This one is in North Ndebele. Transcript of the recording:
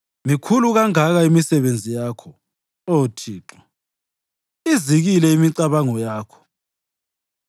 Mikhulu kangaka imisebenzi yakho, Oh Thixo, izikile imicabango yakho!